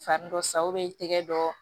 Fari dɔ sa i tɛgɛ dɔ